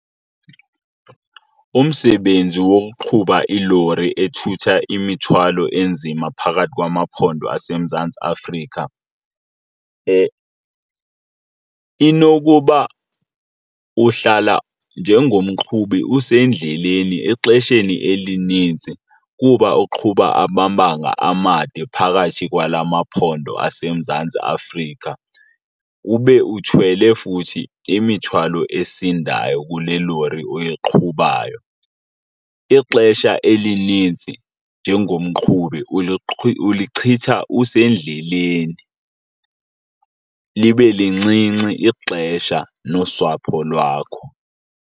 Umsebenzi wokuqhuba ilori ethutha imithwalo enzima phakathi kwamaphondo aseMzantsi Afrika inokuba uhlala njengomqhubi usendleleni exesheni elinintsi kuba uqhuba amabanga amade phakathi kwala maphondo aseMzantsi Afrika, ube uthwele futhi imithwalo esindayo kule lori oyiqhubayo. Ixesha elinintsi njengomqhubi ulichitha usendleleni libe lincinci ixesha nosapho lwakho.